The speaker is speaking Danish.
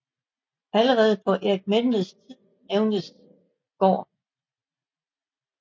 Allerede på Erik Menveds tid nævnes gården